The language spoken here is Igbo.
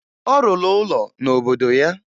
Ọ rụrụ ụlọ n'obodo ya